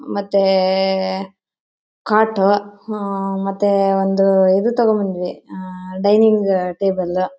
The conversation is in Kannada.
ಮತ್ತೆ ಕೊಟ್ಟು ಹಂ ಮತ್ತೆ ಒಂದು ಇದು ತಗೋಬಂದ್ವಿ ಡೈನಿಂಗ್ ಟೇಬಲ್ .